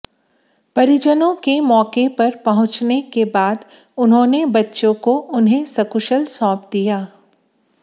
परिजनों के मौके पर पहुंचने के बाद उन्होंने बच्चों उन्हे सकुशल सौंप दिया